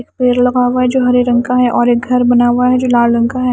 एक पेड़ लगा हुआ है जो हरे रंग का है और एक घर बना हुआ है जो लाल रंग का है।